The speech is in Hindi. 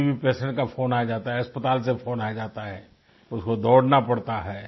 कभी पेशेंट का फ़ोन आ जाता है अस्पताल से फ़ोन आ जाता है तो फिर दौड़ना पड़ता है